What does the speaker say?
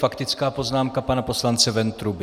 Faktická poznámka pana poslance Ventruby.